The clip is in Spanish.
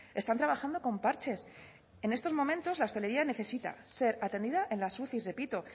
están trabajando con parches en estos momentos la hostelería necesita ser atendida en las uci repito